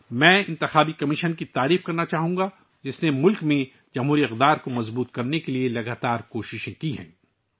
میں انتخابی کمیشن کی ستائش کرنا چاہتا ہوں جس نے ملک میں جمہوری اقدار کو مستحکم کرنے کے لیے انتھک کوششیں کی ہیں